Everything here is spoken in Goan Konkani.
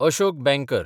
अशोक बँकर